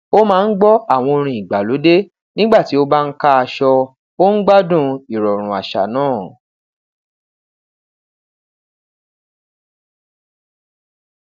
o maa n gbọ awọn orin igbalode nigba ti o ba n ka aṣọ o n gbadun irọrun aṣa naa